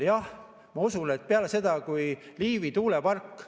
Jah, ma usun, et Liivi tuulepark.